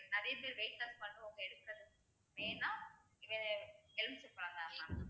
அதேமாதிரி weight loss பண்றவங்க வேணுனா வே~ எலுமிச்சைபழம் mam